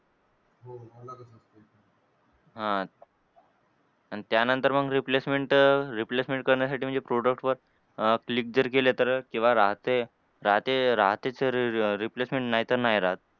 हां. आणि त्यानंतर मग replacement replacement करण्यासाठी म्हणजे product वर अह click जर केलं तर केव्हा राहते राहते राहते तर replacement नाहीतर नाही राहत.